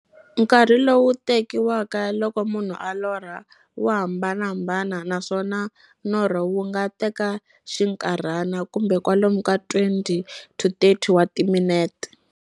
Nkarhi lowu tekiwaka loko munhu a lorha, wa hambanahambana, naswona norho wu nga teka xinkarhana, kumbe kwalomu ka 20-30 wa timinete.